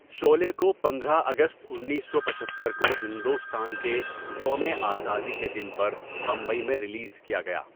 شعلے کو پندرہ اگست اُنیسو پچھتر کو ہندوستان کے یوم آزادی کے دن پر بمبئی میں ریلیز کیا گیا۔